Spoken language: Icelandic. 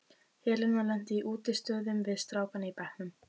Helena lenti í útistöðum við strákana í bekknum.